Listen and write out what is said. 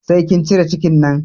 Sai kin cire cikin nan!